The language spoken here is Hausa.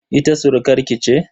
Ita surukar ki ce?